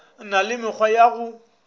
na le mekgwa ya go